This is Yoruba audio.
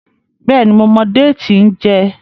béèni mo mọ Déètì n jé.